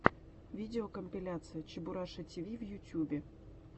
видеокомпиляция чебураша тв в ютубе